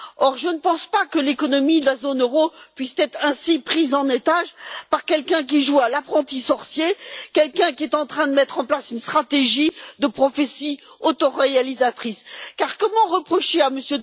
Or je ne pense pas que l'économie de la zone euro puisse être ainsi prise en otage par quelqu'un qui joue à l'apprenti sorcier ou qui est en train de mettre en place une stratégie de prophétie autoréalisatrice. Car comment reprocher à M.